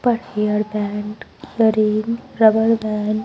rubber band --